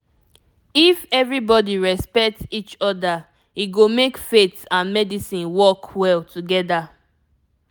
if everybody respect each other e go make faith and medicine work well together